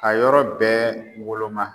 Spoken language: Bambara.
A yɔrɔ bɛɛ woloma.